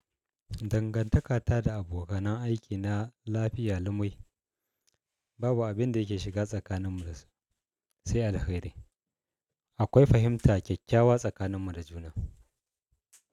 Dangantakata da abokanan aiki na lafiya lumai. Babu abin da yake shiga tsakaninmu sai alheri. Akwai fahimta kyakkyawa tsakaninmu da juna.